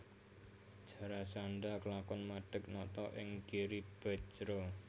Jarasandha klakon madeg nata ing Giribajra